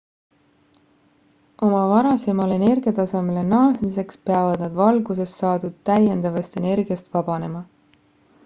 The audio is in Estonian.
oma varasemale energiatasemele naasmiseks peavad nad valgusest saadud täiendavast energiast vabanema